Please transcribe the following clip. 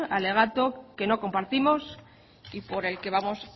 alegato que no compartimos y por el que vamos